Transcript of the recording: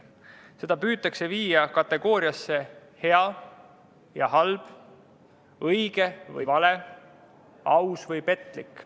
Seda püütakse viia kategooriatesse "hea või halb", "õige või vale", "aus või petlik".